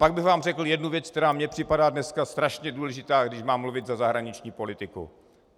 Pak bych vám řekl jednu věc, která mi připadá dneska strašně důležitá, když mám mluvit za zahraniční politiku.